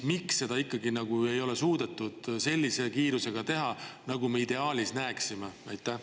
Miks seda ei ole ikkagi suudetud sellise kiirusega teha, nagu me ideaalis näeksime?